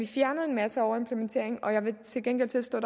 fjernet en masse overimplementering men jeg vil til gengæld tilstå